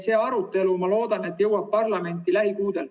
See arutelu, ma loodan, jõuab parlamenti lähikuudel.